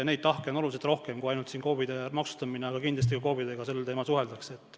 Neid tahke on oluliselt rohkem kui ainult KOV-ide maksustamine, aga kindlasti ka KOV-idega sel teemal suheldakse.